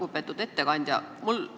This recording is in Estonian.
Lugupeetud ettekandja!